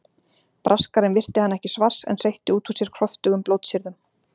Braskarinn virti hann ekki svars en hreytti út úr sér kröftugum blótsyrðum.